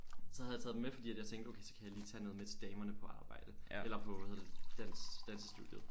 Så havde jeg taget dem med fordi at jeg tænkte okay så kan jeg lige tage noget med til damerne på arbejde eller på hvad hedder det dans dansestudie